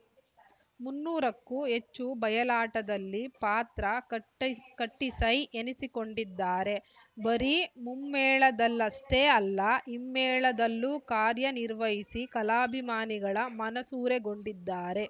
ಮುನ್ನೂರಕ್ಕೂ ಹೆಚ್ಚು ಬಯಲಾಟದಲ್ಲಿ ಪಾತ್ರ ಕಟ್ಟಿಸೈ ಎನಿಸಿಕೊಂಡಿದ್ದಾರೆ ಬರೀ ಮುಮ್ಮೇಳದಲ್ಲಷ್ಟೆಅಲ್ಲ ಹಿಮ್ಮೇಳದಲ್ಲೂ ಕಾರ್ಯನಿರ್ವಹಿಸಿ ಕಲಾಭಿಮಾನಿಗಳ ಮನಸೂರೆಗೊಂಡಿದ್ದಾರೆ